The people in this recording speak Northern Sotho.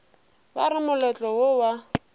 ba re moletlo wo wa